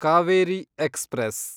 Kaveri express